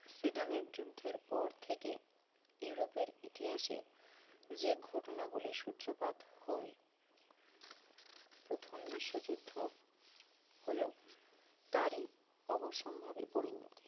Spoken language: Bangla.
সেডানের যুদ্ধের পর থেকে ইউরোপের ইতিহাসে যে ঘটনাবলী সূত্রপাত হয় প্রথম বিশ্বযুদ্ধ হল তারই অবসম্ভাবী পরিণতি